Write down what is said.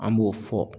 An b'o fɔ